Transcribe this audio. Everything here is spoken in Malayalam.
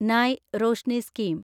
നയ് റോഷ്നി സ്കീം